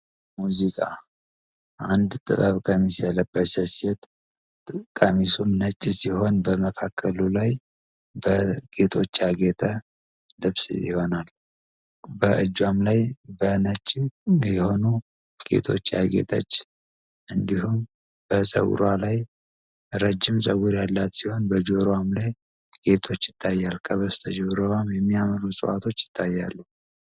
ሙዚቃ አንድ ጥበብ ቀሚስ የለበች ሴት ቀሚሱን ነጭ ሲሆን በመካከሉ ላይ በጌቶች አጌተ ልብስ ይሆናሉ። በእጇም ላይ በነች የሆኑ ጌቶች አጌተች እንዲሁም በዘውሮ ላይ ረጅም ዘውር ያላት ሲሆን በጆረዋም ላይ ጌጦች ይታያል ከበስ ተጀረዋም የሚያመሉ ሰዋዋቶች ይታያሉ።